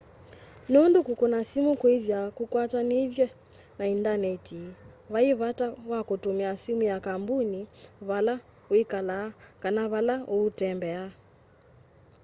nundu kukuna simu kwithwaa kukwatanithitw'e na indaneti vai vata wa kutumia simu ya kambuni vala wikalaa kana vala uutembea